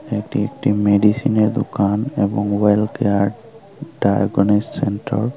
এটি একটি মেডিসিনের দোকান এবং ওয়েল কেয়ার ডায়াগনিস সেন্টার ।